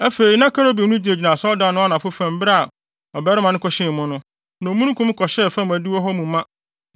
Afei na kerubim no gyinagyina asɔredan no anafo fam bere a ɔbarima no kɔhyɛn mu no, na omununkum kɔhyɛɛ fam adiwo hɔ mu ma.